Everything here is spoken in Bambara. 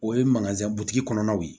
O ye kɔnɔnaw ye